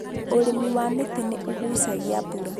Ũrĩmi wa mĩtĩ nĩ ũgũcagia mbura